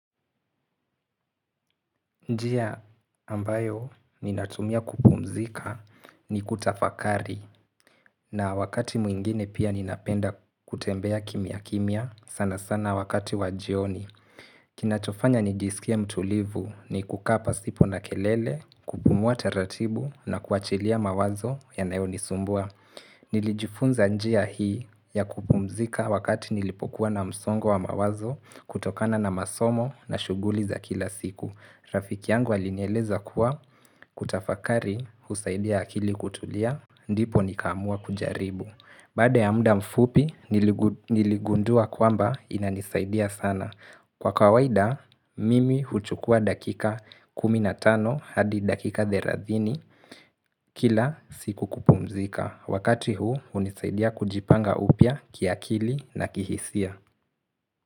Njia ambayo ninatumia kupumzika ni kutafakari na wakati mwingine pia ninapenda kutembea kimiakimia sana sana wakati wajioni. Kinachofanya nijisikia mtulivu, ni kukaa pasipo na kelele, kupumua taratibu na kuachilia mawazo yanayonisumbua. Nilijifunza njia hii ya kupumzika wakati nilipokuwa na msongo wa mawazo kutokana na masomo na shughuli za kila siku. Rafiki yangu alinieleza kuwa, kutafakari husaidia akili kutulia, ndipo nikaamua kujaribu. Baada ya muda mfupi, niligundua kwamba inanisaidia sana. Kwa kawaida, mimi huchukua dakika 15 hadi dakika 30, kila siku kupumzika. Wakati huu, hunisaidia kujipanga upya kiakili na kihisia.